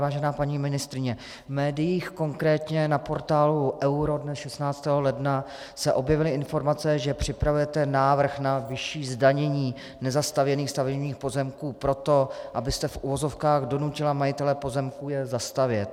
Vážená paní ministryně, v médiích, konkrétně na portálu Euro dne 16. ledna, se objevily informace, že připravujete návrh na vyšší zdanění nezastavěných stavebních pozemků proto, abyste v uvozovkách donutila majitele pozemků je zastavět.